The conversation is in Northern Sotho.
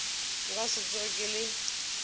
nka se tsoge ke le